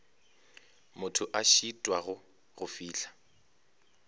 motho a šitwago go fihla